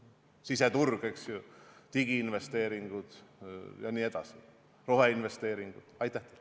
Siseturg, digiinvesteeringud, roheinvesteeringud jne.